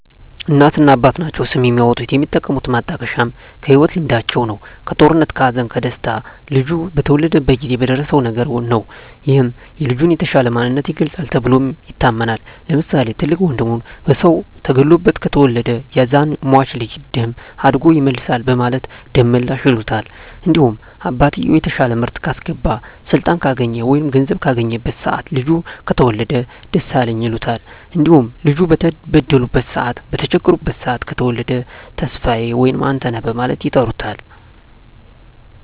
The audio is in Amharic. እናትና አባት ናቸዉ ስም የሚያወጡት። የሚጠቀሙት ማጣቀሻም ከህይወት ልምዳቸዉ ነዉ(ከጦርነት ከሀዘን ከደስታ ልጁ በተወለደበት ጊዜ በደረሰዉ ነገር) ነዉ ይህም የልጁን የተሻለ ማንነት ይገልፃል ተብሎም ይታመናል። ለምሳሌ፦ ትልቅ ወንድሙ በሰዉ ተገሎበት ከተወለደ ያዛን ሟች ልጅ ደም አድጎ ይመልሳል በማለት ደመላሽ ይሉታል። እንዲሁም አባትየዉ የተሻለ ምርት ካስገባ ስልጣን ካገኘ ወይም ገንዘብ ካገኘበት ሰአት ልጁ ከተወለደ ደሳለኝ ይሉታል። እንዲሁም ልጁ በተበደሉበት ሰአት በተቸገሩበት ሰአት ከተወለደ ተስፋየ ወይም አንተነህ በማለት ይጠሩታል።